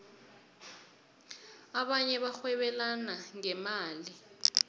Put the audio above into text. abanye barhwebelana ngemali